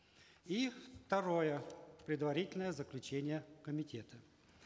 и второе предварительное заключение комитета